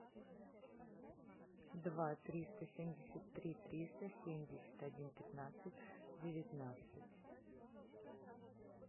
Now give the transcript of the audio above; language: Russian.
два триста семьдесят три триста семьдесят один пятнадцать девятнадцать